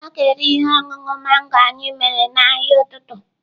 A ga-ere ihe ọṅụṅụ mango anyị mere n'ahịa n'ụtụtụ.